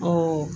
Ɔ